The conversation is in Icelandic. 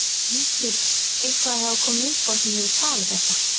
Það hlýtur eitthvað að hafa komið upp á sem hefur tafið þetta?